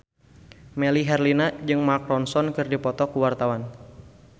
Melly Herlina jeung Mark Ronson keur dipoto ku wartawan